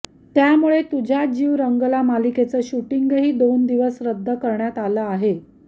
त्यामुळे तुझ्यात जीव रंगला मालिकेचं शूटिंगही दोन दिवस रद्द करण्यात आलं आहे